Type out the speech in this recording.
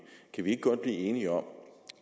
kan vi ikke godt blive enige om